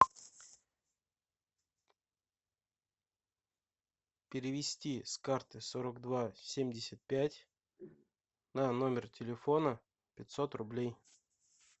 перевести с карты сорок два семьдесят пять на номер телефона пятьсот рублей